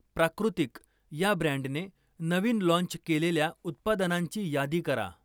प्राकृतिक या ब्रँडने नवीन लाँच केलेल्या उत्पादनांची यादी करा?